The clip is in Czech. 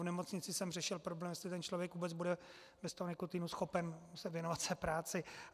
V nemocnici jsem řešil problém, jestli ten člověk vůbec bude bez toho nikotinu schopen se věnovat své práci.